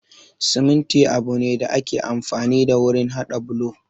Siminti abu ne da ake amfani da wurin haɗa bulo